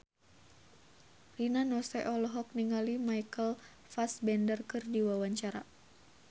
Rina Nose olohok ningali Michael Fassbender keur diwawancara